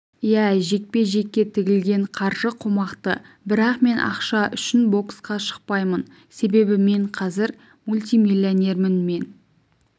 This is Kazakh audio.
иә жекпе-жекке тігілген қаржы қомақты бірақ мен ақша үшін боксқа шықпаймын себебі мен қазір мультимиллионермін мен